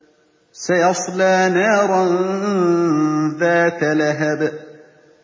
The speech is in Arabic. سَيَصْلَىٰ نَارًا ذَاتَ لَهَبٍ